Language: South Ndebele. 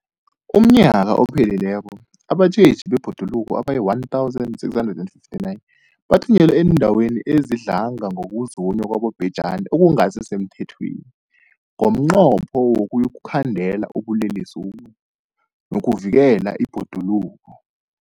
UmNnyaka ophelileko abatjheji bebhoduluko abayi-1 659 bathunyelwa eendaweni ezidlange ngokuzunywa kwabobhejani okungasi semthethweni ngomnqopho wokuyokukhandela ubulelesobu nokuvikela ibhoduluko.